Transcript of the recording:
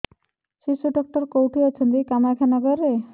ଶିଶୁ ଡକ୍ଟର କୋଉଠି ଅଛନ୍ତି କାମାକ୍ଷାନଗରରେ